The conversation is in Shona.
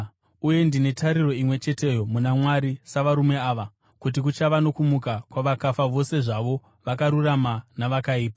uye ndine tariro imwe cheteyo muna Mwari savarume ava, kuti kuchava nokumuka kwavakafa vose zvavo vakarurama navakaipa.